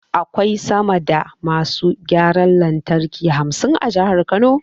Akwai sama da masu gyaran lantarki hamsin a Jihar Kano.